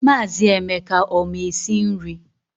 Maazị Emeka ọ ma esi nri?